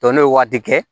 Dɔn n'o ye waati kɛ